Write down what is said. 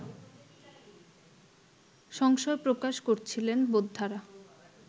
সংশয় প্রকাশ করছিলেন বোদ্ধারা